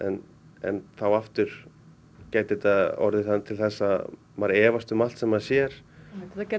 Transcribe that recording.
en en þá aftur gæti þetta orðið til þess að maður efast um allt sem maður sér þetta gæti